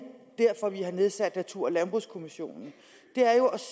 derfor vi har nedsat natur og landbrugskommissionen er at